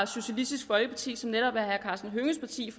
socialistisk folkeparti som netop er herre karsten hønges parti